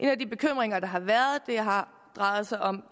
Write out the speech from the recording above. af de bekymringer der har været har drejet sig om